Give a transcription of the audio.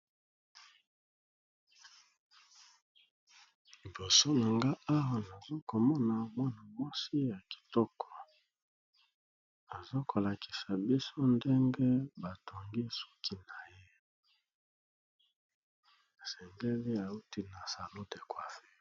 Libosonanga nanga awa nazokomona mwana mwasi yakitoko azokolakisa biso ndenge batongiye suki naye yasengeli awuti na salon de coiffure